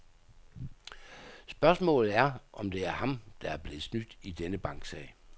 Spørgsmålet er, om det er ham, der er blevet snydt i denne banksag.